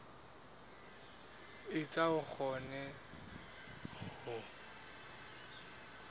etsa hore a kgone ho